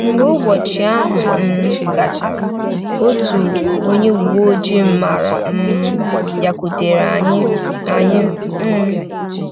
Mgbe ụbọchị ahụ um gachara, otu onye uwe ojii m maara um bịakwutere anyị. anyị. um